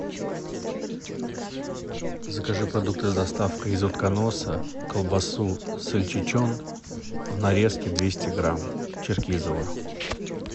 закажи продукты с доставкой из утконоса колбасу сольчичен в нарезке двести грамм черкизово